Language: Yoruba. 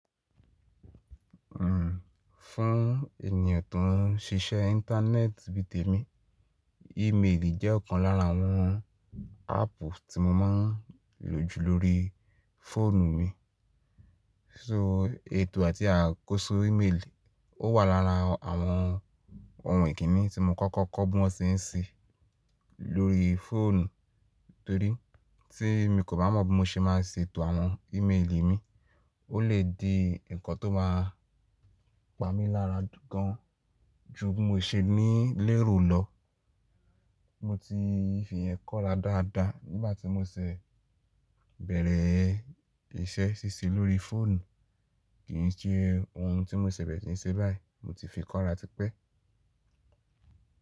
Fún ènìyàn tó ń ṣiṣẹ́ Íńtánẹ́ẹ̀tì bí i tèmi, ímeèlì jẹ́ ọ̀kan lára àwọn áàpù tí mo máa ń lò jù lórí fóònù mi. So ètò àti àkóso ímeèlì ó wà lára àwọn ohun ìkíni tí mo kọ́kọ́ kọ́ bí wọ́n seń se lórí fóònù, torí tí mi kò bá mọ bí mo ṣe má a ṣe ètò àwọn ímeèlì mi, ó lè di ǹkan tó má a pa mí lára gan ju bí mo ṣe ní lérò lọ. Mo ti fi ìyẹn kọ́ra dáadáa nígbà tí mo sẹ bẹ̀rẹ̀ isẹ́ síse lórí fóònù, kì í ṣe ohun tí mo sẹ bẹ̀rẹ̀ ti ń se báyìí, mo ti fi kọ́ra tipẹ́.